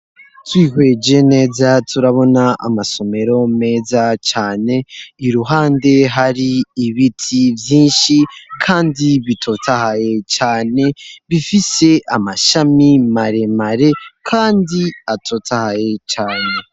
Twihweje neza turabona amasomero meza cane iruhande hari ibiti vyinshi, kandi bitotahaye cane bifise amashami maremare, kandi atotahaye cane.